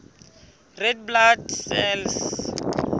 red blood cells